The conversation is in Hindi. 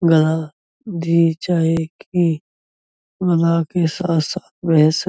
गधा भी चाहे कि मलाह के साथ साथ रह स --